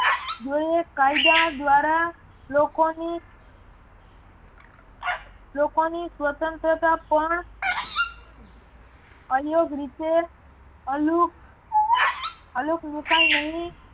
જોઈએ કાયદા દ્વારા લોકોની લોકોની સ્વતંત્રતા પણ અયોગ્ય રીતે અલુપ મુકાય નહિ